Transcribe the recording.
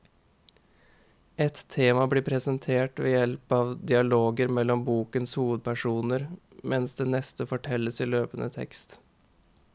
Ett tema blir presentert ved hjelp av dialoger mellom bokens hovedpersoner, mens det neste fortelles i løpende tekst.